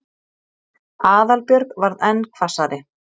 Aðalbjörg varð enn hvassari.